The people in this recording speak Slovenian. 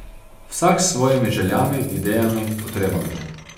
Vsak s svojimi željami, idejami, potrebami.